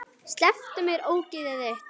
Slepptu mér, ógeðið þitt!